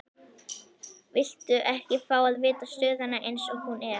Viltu ekki fá að vita stöðuna eins og hún er?